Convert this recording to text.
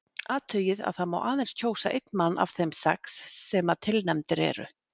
Athugið að það má aðeins kjósa einn mann af þeim sex sem að tilnefndir eru.